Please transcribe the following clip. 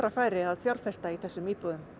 færi að fjárfesta í þessum íbúðum